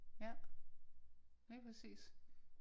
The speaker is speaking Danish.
Ja. Lige præcis